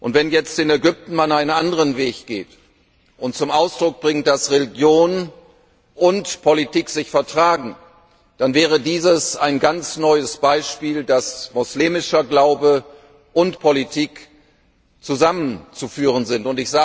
Wenn man jetzt in Ägypten einen anderen Weg geht und zum Ausdruck bringt, dass Religion und Politik sich vertragen, dann wäre dies ein ganz neues Beispiel dafür, dass muslimischer Glaube und Politik zusammenzuführen sind.